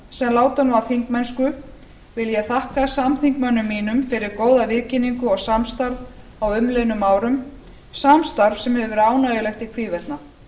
sem láta nú af þingmennsku vil ég þakka samþingmönnum mínum fyrir góða viðkynningu og samstarf á umliðnum árum samstarf sem hefur verið ánægjulegt í hvívetna